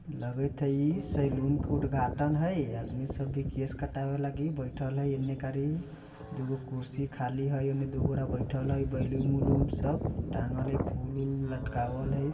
लगत हई सेलून के उदघाटन हई। आदमी सब केश कटाव लागी बैठल येमने कर दोगो कुर्सी खाली हई येमने दोबारा बैठल हई। बलून - वुलुन सब टांगल हई फुल-वुल लटकावल हई।